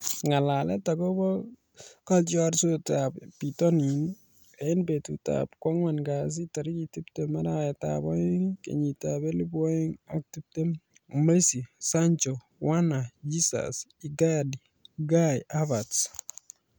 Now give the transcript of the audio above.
Ng'alalet akobo kotiorsetab bitonin eng betutab kwang'wan kasi tarik tiptem, arawetab oeng, kenyitab elebu oeng ak tiptem:Messi ,Sancho, Werner, Jesus, Icardi, Kai Havertz